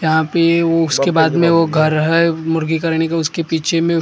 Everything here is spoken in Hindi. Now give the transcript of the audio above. यहाँ पे उसके बाद में वो घर है मुर्गी करनी का उसके पीछे में--